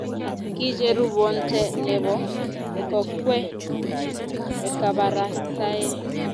Kicheruu bonte ne bo kokwee kabarastae.